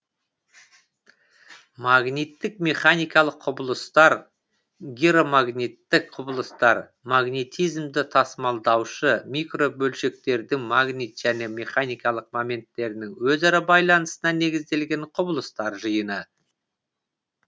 магниттік механикалық құбылыстар гиромагниттік құбылыстар магнетизмді тасымалдаушы микробөлшектердің магнит және механикалық моменттерінің өзара байланысына негізделген құбылыстар жиыны